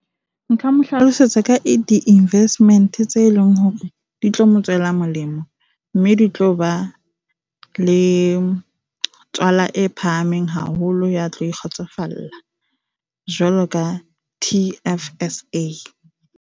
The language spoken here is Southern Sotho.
Nka mo hlalosetsa ka di-investment, tse leng hore di tlo mo tswela molemo mme di tlo ba le tswala e phahameng haholo, ya tlo e kgotsofalla jwaloka T_F_S_A.